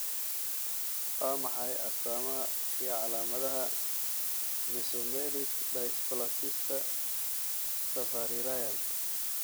Waa maxay astamaha iyo calaamadaha Mesomelic dysplasiska Savarirayan?